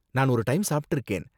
நான் ஒரு டைம் சாப்ட்டிருக்கேன்.